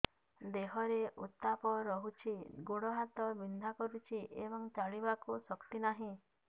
ଦେହରେ ଉତାପ ରହୁଛି ଗୋଡ଼ ହାତ ବିନ୍ଧା କରୁଛି ଏବଂ ଚାଲିବାକୁ ଶକ୍ତି ନାହିଁ